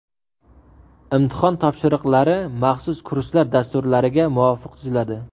Imtihon topshiriqlari maxsus kurslar dasturlariga muvofiq tuziladi.